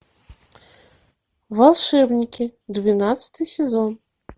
волшебники двенадцатый сезон